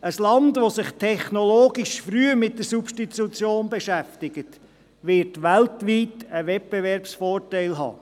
Ein Land, das sich technologisch früh mit der Substitution beschäftigt, wird weltweit einen Wettbewerbsvorteil haben.